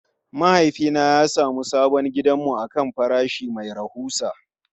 Mahaifina ya sami sabon gidanmu akan farashi mai rahusa.